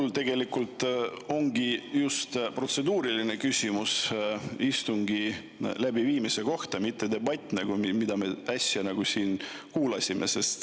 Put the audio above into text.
Mul tegelikult ongi just protseduuriline küsimus istungi läbiviimise kohta, mitte debatt, mida me äsja siin kuulasime.